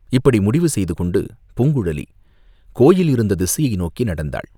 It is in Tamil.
இப்படி முடிவு செய்து கொண்டு பூங்குழலி கோயில் இருந்த திசையை நோக்கி நடந்தாள்.